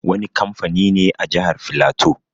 Wani kamfani ne a Jahar Filato.